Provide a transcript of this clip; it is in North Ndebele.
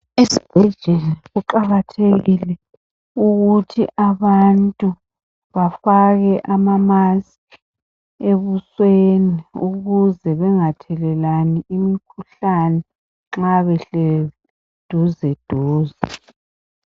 Ezibhedlela kuqakathekile ukuthi abantu bafake amamaski ebusweni ukuze bengathelelani imikhuhlane nxa behleli duzeduze.